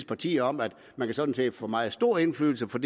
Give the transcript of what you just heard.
partier om at man sådan set kan få meget stor indflydelse for